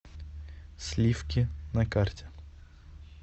слифки на карте